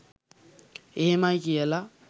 එහෙමයි කියල